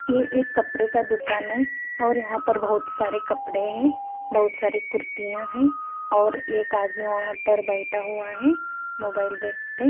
ये एक कपड़े का दुकान है और यहां पर बहोत सारे कपड़े है बहोत सारे कुर्तियां हैं और एक आदमी वहां पर बैठा हुआ है मोबाइल देखते--